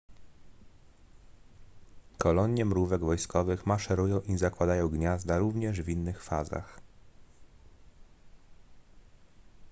kolonie mrówek wojskowych maszerują i zakładają gniazda również w innych fazach